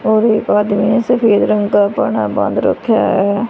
और एक आदमी ने सफेद रंग का परना बांध रखा है।